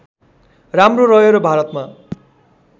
राम्रो रह्यो र भारतमा